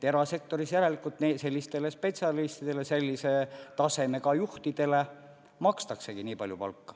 Erasektoris järelikult sellistele spetsialistidele, sellise tasemega juhtidele makstaksegi nii palju palka.